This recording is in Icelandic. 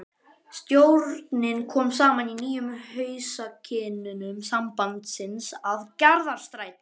Stjórnin kom saman í nýjum húsakynnum sambandsins að Garðastræti